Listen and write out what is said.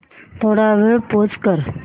थोडा वेळ पॉझ कर